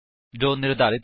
spoken tutorial